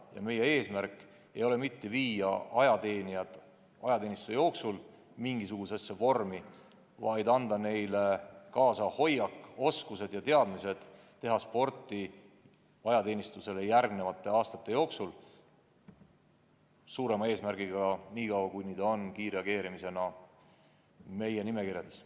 Ja meie eesmärk ei ole mitte viia ajateenijad ajateenistuse jooksul mingisugusesse supervormi, vaid anda neile kaasa õige hoiak, oskused ja teadmised, kuidas teha sporti ka pärast ajateenistust, seda vähemalt nii kaua, kui inimene on kiirreageerimise nimekirjades.